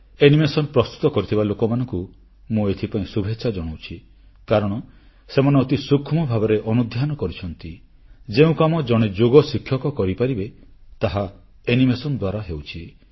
animation ପ୍ରସ୍ତୁତ କରିଥିବା ଲୋକମାନଙ୍କୁ ମୁଁ ଏଥିପାଇଁ ଶୁଭେଚ୍ଛା ଜଣାଉଛି କାରଣ ସେମାନେ ଅତି ସୂକ୍ଷ୍ମ ଭାବରେ ଅନୁଧ୍ୟାନ କରିଛନ୍ତି ଯେଉଁ କାମ ଜଣେ ଯୋଗଶିକ୍ଷକ କରିପାରିବେ ତାହା ଆନିମେସନ ଦ୍ୱାରା ହେଉଛି